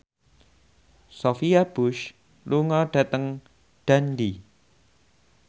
Sophia Bush lunga dhateng Dundee